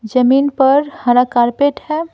जमीन पर हरा कारपेट है।